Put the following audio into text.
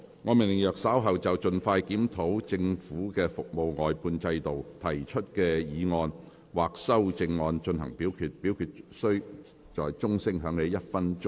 我命令若稍後就"盡快全面檢討政府的服務外判制度"所提出的議案或修正案再進行點名表決，表決須在鐘聲響起1分鐘後進行。